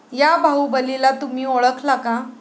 या' 'बाहुबली'ला तुम्ही ओळखला का?